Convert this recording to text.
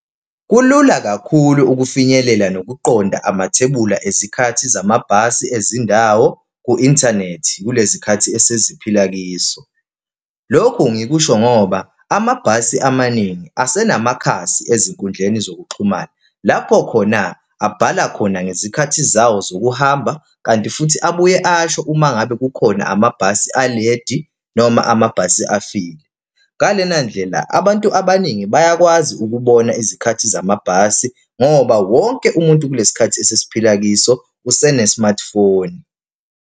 Kulula kakhulu ukufinyelela nokuqonda amathebula ezikhathi zamabhasi ezindawo ku-inthanethi kulezi khathi eseziphila kiso. Lokhu ngikusho ngoba amabhasi amaningi asenamakhasi ezinkundleni zokuxhumana. Lapho khona abhala khona ngezikhathi zawo zokuhamba, kanti futhi abuye asho uma ngabe kukhona amabhasi aledi noma amabhasi afile. Ngalena ndlela, abantu abaningi bayakwazi ukubona izikhathi zamabhasi ngoba wonke umuntu kulesi khathi esesiphila kiso usene-smartphone.